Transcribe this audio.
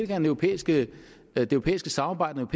det europæiske samarbejde og